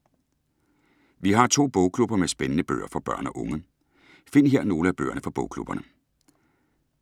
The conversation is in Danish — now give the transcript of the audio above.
Vi har to bogklubber med spændende bøger for børn og unge. Find her nogle af bøgerne fra bogklubberne.